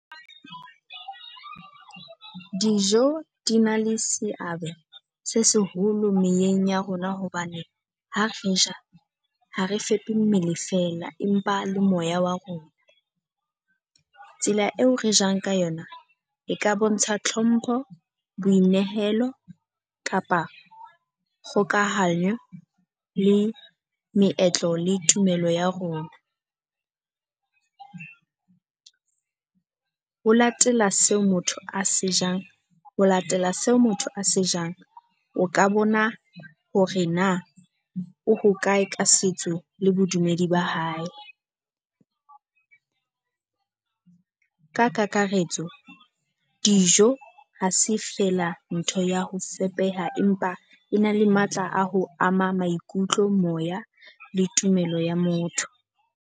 Dijo di na le seabo se seholo meyeng ya rona hobane ha re ja ha re fepe mmele feela, empa le moya wa rona. Tsela eo re jang ka yona e ka bontsha tlhompho, boinehelo kapa kgokahanyo le meetlo le tumelo ya rona. Ho latela seo motho a se jang ho latela seo motho a se jang, o ka bona hore na o hokae ka setso le bodumedi ba hae. Ka kakaretso dijo ha se fela ntho ya ho fepela empa e na le matla a ho ama maikutlo, moya le tumelo ya motho.